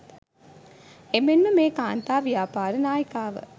එමෙන්ම මෙම කාන්තා ව්‍යාපාර නායිකාව